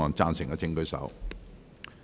贊成的請舉手。